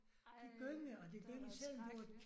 Ej det var dog skrækkeligt